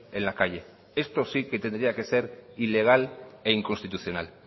en la calle esto sí que tendría que ser ilegal e inconstitucional